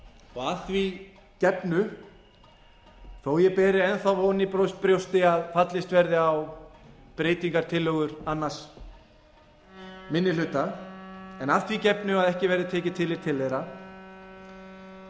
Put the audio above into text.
og að því gefnu þó að ég beri enn þá von í brjósti að fallist verði á breytingartillögur annar minni hluta en að því gefnu að ekki verði tekið tillit til þeirra